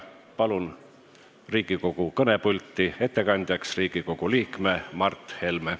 Palun Riigikogu kõnepulti ettekandjaks Riigikogu liikme Mart Helme!